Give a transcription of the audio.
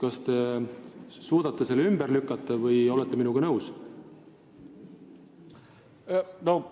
Kas te suudate selle hirmu ümber lükata või olete minuga nõus?